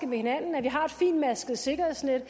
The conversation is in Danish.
med hinanden at vi har et fintmasket sikkerhedsnet